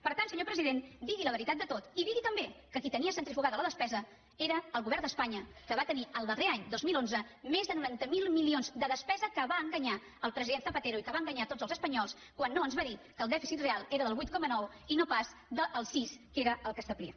per tant senyor president digui la veritat de tot i digui també que qui tenia centrifugada la despesa era el govern d’espanya que va tenir el darrer any dos mil onze més de noranta miler milions de despesa que va enganyar el president zapatero i que va enganyar a tots els espanyols quan no ens va dir que el dèficit real era del vuit coma nou i no pas del sis que era el que establia